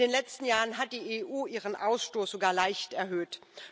In den letzten Jahren hat die EU ihren Ausstoß sogar leicht erhöht.